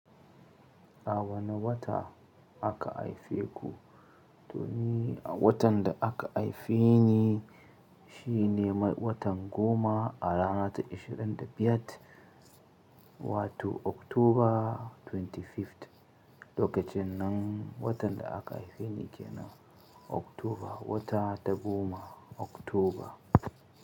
A wane wata aka haife ku? To ni a watan da aka haife ni shine watan goma a rana ta 25, wato October 25th. Lokacin nan watan da aka haife ni ke nan October, wata ta goma October.